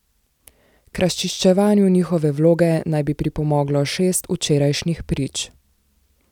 K razčiščevanju njihove vloge naj bi pripomoglo šest včerajšnjih prič.